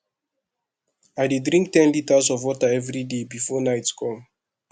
i dey drink ten litres of water everyday before night come